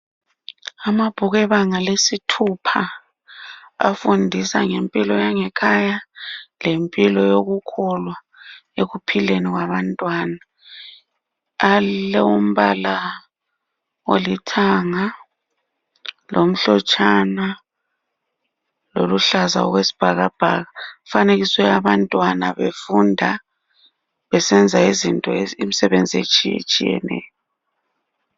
Amabhuku ebanga lesithupha afundisa ngempilo yangekhaya lempilo yokukholwa ekuphileni kwabantwana, alombala olithanga, lomhlotshana loluhlaza okwe sibhakabhaka kufanekiswe abantwana befunda besenza imsebenzi etshiyatshiyeneyo.